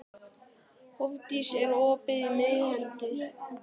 Hofdís, er opið í Miðeind?